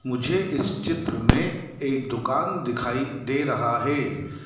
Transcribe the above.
मुझे इस चित्र में एक दुकान दिखाई दे रहा है।